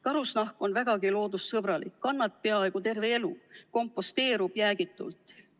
Karusnahk on vägagi loodussõbralik: kannad peaaegu terve elu, komposteerub jäägitult.